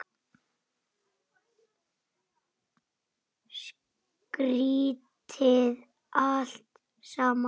Skrýtið allt saman.